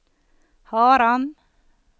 Haram